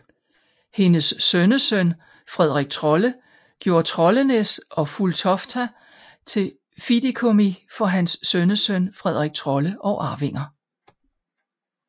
Hendes sønnesøn Fredrik Trolle gjorde Trollenäs og Fulltofta til fideikommis for hans sønnesøn Fredrik Trolle og arvinger